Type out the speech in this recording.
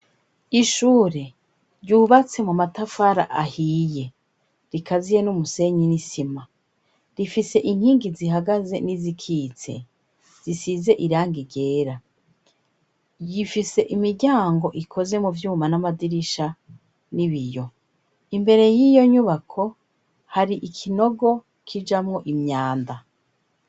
Ishure ryubatse mu matafara ahiye rikaziye n'umusenyi n'isima rifise inkingi zihagaze n'izikitse zisize irangi ryera yifise imiryango ikoze mu vyuma n'amadirisha n'ibiyo imbere y'iyo nyubako hari ikinogo kijamwo imyanda.